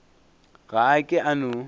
ga a ke a no